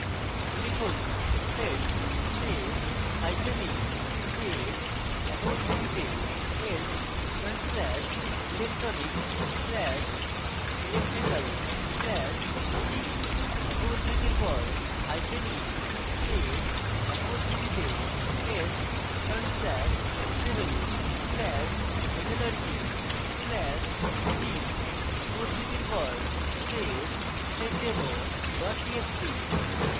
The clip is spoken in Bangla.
লিখুন: sed space hyphen e space একক উদ্ধৃতিতে s front slash electronics slash electrical slash g একক উদ্ধৃতির পর hyphen e space একক উদ্ধৃতিতে s front slash civil slash metallurgy slash g একক উদ্ধৃতির পর space seddemo txt txt